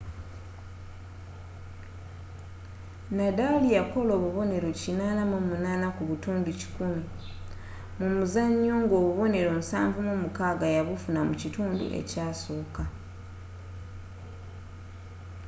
nadal yakola obuboneero 88% mu muzanyo nga obubonnero 76 yabufuna mu kitundu ekyasooka